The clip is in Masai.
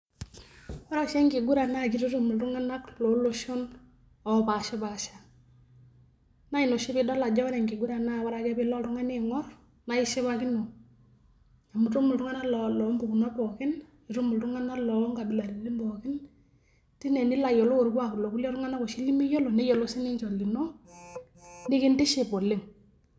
Ore oshi enkiguran naa kitutum iltung'ana loo loshon onkuapi napashi pasha. Naa ina oshi pidol ajo ore enkuguran naa ore ake pilo oltung'ani aing'or naa ishipakino amuu itum iltung'ana loo mpukunot pookin, nitum iltung'ana loo nkabilaritin pookin tine nilo ayiolou orkuak loltung'ana oshi nemiyiolo neyiolou sii ninche olino nikintiship oleng'.